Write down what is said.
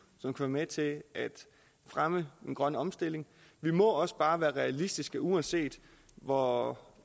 som kan være med til at fremme den grønne omstilling vi må også bare være realistiske uanset hvor